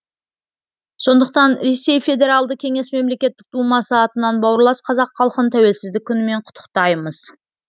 сондықтан ресей федералды кеңес мемлекеттік думасы атынан бауырлас қазақ халқын тәуелсіздік күнімен құттықтаймыз